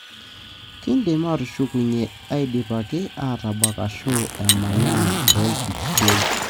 Kindim atushukunyie idipaki ataabak ashu emaana tolkipie,